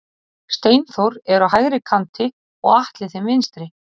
Steinþór er á hægri kanti og Atli þeim vinstri.